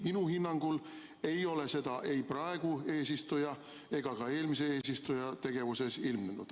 Minu hinnangul ei ole seda ei praeguse eesistuja ega ka eelmise eesistuja tegevuses ilmnenud.